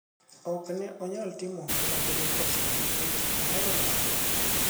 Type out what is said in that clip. ok ne anyal timo ohala gi nyako cha nikech ohero dhawo